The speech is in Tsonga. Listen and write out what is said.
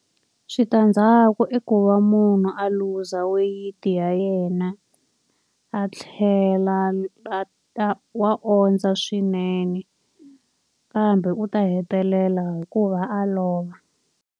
Switandzhaku i ku va munhu a luza weyiti ya yena, a tlhela wa ondza swinene. Kambe u ta hetelela hi ku va a lova.